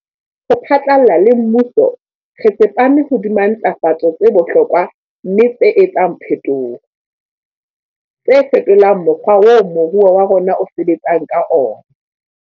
Ho phatlalla le mmuso, re tsepame hodima ntlafatso tse bohlokwa mme tse etsang phetoho, tse fetolang mokgwa oo moruo wa rona o sebetsang ka ona.